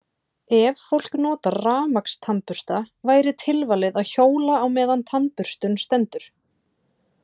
Ef fólk notar rafmagnstannbursta væri tilvalið að hjóla meðan á tannburstun stendur.